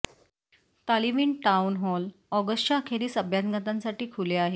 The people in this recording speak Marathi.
तालिवीन टाउन हॉल ऑगस्टच्या अखेरीस ऑगस्टच्या अखेरीस अभ्यागतांसाठी खुले आहे